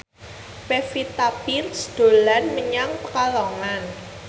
Pevita Pearce dolan menyang Pekalongan